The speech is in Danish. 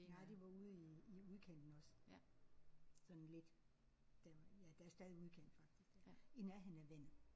Nej det var ude i i udkanten også. Sådan lidt der ja der stadig udkant faktisk der i nærheden af vandet